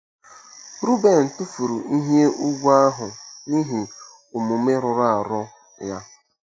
Ruben tụfuru ihe ùgwù ahụ n'ihi omume rụrụ arụ ya.